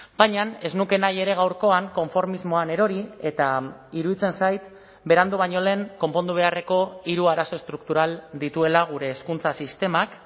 baina ez nuke nahi ere gaurkoan konformismoan erori eta iruditzen zait berandu baino lehen konpondu beharreko hiru arazo estruktural dituela gure hezkuntza sistemak